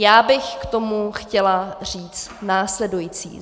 Já bych k tomu chtěla říct následující.